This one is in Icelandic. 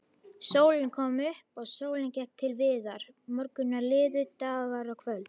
Sólin kom upp og sólin gekk til viðar, morgnar liðu, dagar og kvöld.